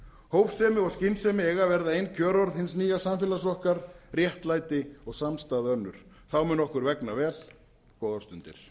hófsemi og skynsemi eiga að verða ein kjörorð hins nýja samfélags okkar réttlæti og samstaða önnur þá mun okkur vegna vel góðar stundir